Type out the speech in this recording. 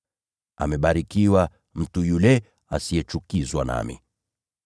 Amebarikiwa mtu yule asiyechukizwa na mimi.”